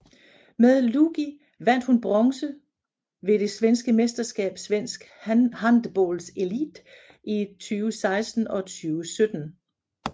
Med Lugi vandt hun bronze ved det svenske mesterskab Svensk handbollselit i 2016 og 2017